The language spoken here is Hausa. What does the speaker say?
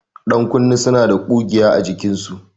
Ƴankunne suna da ƙugiya a jikinsu.